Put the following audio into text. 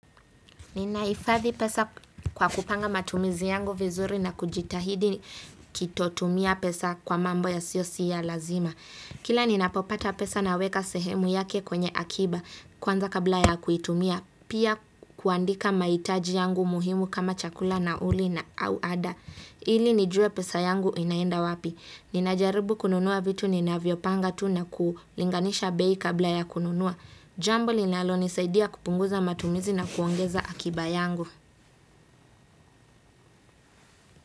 Ninaifadhi pesa kwa kupanga matumizi yangu vizuri na kujitahidi kitotumia pesa kwa mambo ya siyo siya lazima. Kila ninapopata pesa na weka sehemu yake kwenye akiba kwanza kabla ya kuitumia pia kuandika mahitaji yangu muhimu kama chakula nauli na au ada. Ili nijue pesa yangu inaenda wapi. Ninajaribu kununua vitu ninavyo panga tu na kulinganisha bei kabla ya kununua. Jambo linalonisaidia kupunguza matumizi na kuongeza akiba yangu.